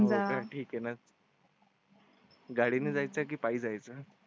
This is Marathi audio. होका ठीक आहे ना. गाडी ने जायच पायी जायचं.